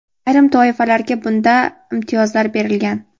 ayrim toifalarga bunda imtiyozlar berilgan.